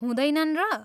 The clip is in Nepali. हुँदैनन् र?